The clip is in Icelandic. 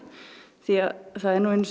því að það er nú einu sinni